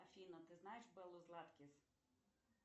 афина ты знаешь беллу златкис